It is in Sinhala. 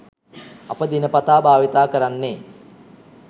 අප දිනපතා භාවිතා කරන්නේ